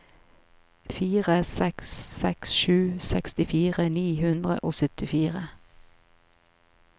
fire seks seks sju sekstifire ni hundre og syttifire